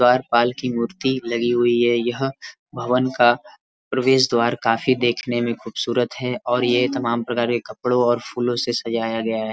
द्वारपाल की मूर्ति लगी हुई ह। यह भवन का प्रवेश द्वार काफी देखने में खूबसूरत है और ये तमाम प्रकार के कपड़ो और फूलो से सजाया गया है।